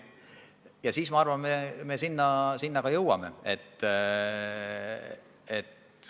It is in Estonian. Ja siis, ma arvan, me sinna ka jõuame.